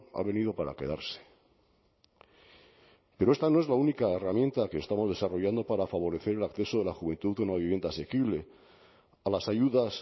ha venido para quedarse pero esta no es la única herramienta que estamos desarrollando para favorecer el acceso de la juventud a una vivienda asequible a las ayudas